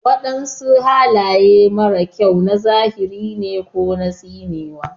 Wadansu halaye mara kyau na zahiri ne ko tsinewa.